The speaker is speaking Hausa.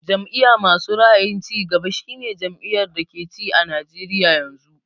Jam'iya masu ra'ayin cigaba shi ne jam'iyar da ke ci a Najeriya yanzu